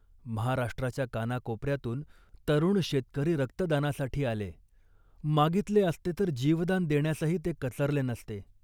महाराष्ट्राच्या कानाकोपऱ्यातून तरुण शेतकरी रक्तदानासाठी आले. मागितले असते तर जीवदान देण्यासही ते कचरले नसते